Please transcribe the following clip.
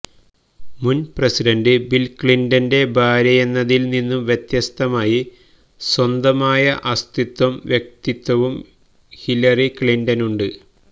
മുന്പ്രസിഡന്റ് Bill ക്ലിന്റന്റെ ഭാര്യയെന്നതില്നിന്നു വ്യത്യസ്തമായി സ്വന്തമായ അസ്തിത്വവും വ്യക്തിത്വവും ഹിലരി ക്ലിന്റനുണ്ട്